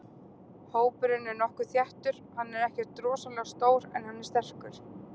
Hópurinn er nokkuð þéttur, hann er ekkert rosalega stór en hann er sterkur.